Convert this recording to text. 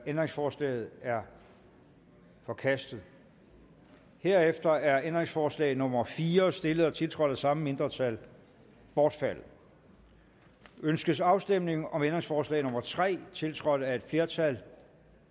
ændringsforslaget er forkastet herefter er ændringsforslag nummer fire stillet og tiltrådt af det samme mindretal bortfaldet ønskes afstemning om ændringsforslag nummer tre tiltrådt af et flertal